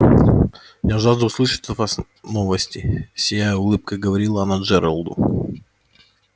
я жажду услышать от вас новости сияя улыбкой говорила она джералду